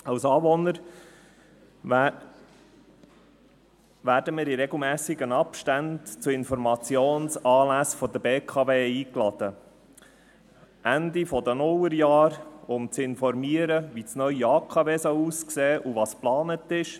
Als Anwohner werden wir in regelmässigen Abständen zu Informationsanlässen der BKW eingeladen, so Ende der Nullerjahre, um zu informieren, wie das neue AKW aussehen soll und was geplant ist.